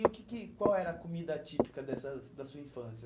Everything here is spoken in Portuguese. E o que que qual era a comida típica dessa da sua infância?